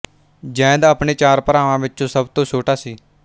ਜ਼ੈਦ ਆਪਣੇ ਚਾਰ ਭਰਾਵਾਂ ਵਿੱਚੋਂ ਸਭ ਤੋਂ ਛੋਟਾ ਸੀ